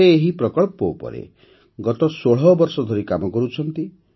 ସେ ଏହି ପ୍ରକଳ୍ପ ଉପରେ ଗତ ୧୬ ବର୍ଷ ଧରି କାମ କରୁଛନ୍ତି